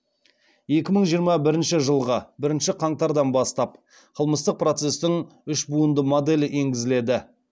екі мың жиырма бірінші жылғы бірінші қаңтардан бастап қылмыстық процестің үш буынды моделі енгізіледі